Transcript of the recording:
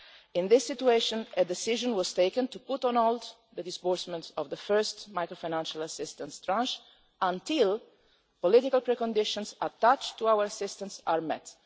In this situation, a decision was taken to put on hold the disbursement of the first macro-financial assistance tranche until the political preconditions attached to our assistance are met.